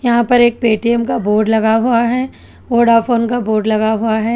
यहां पर एक पेटीएम का बोर्ड लगा हुआ है वोडाफोन का बोर्ड लगा हुआ है।